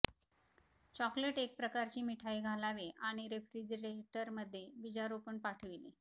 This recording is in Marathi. चॉकलेट एक प्रकारची मिठाई घालावे आणि रेफ्रिजरेटर मध्ये बीजारोपण पाठविले